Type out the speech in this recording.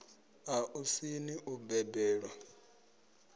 a u sini u balelwa